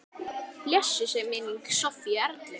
Blessuð sé minning Sofíu Erlu.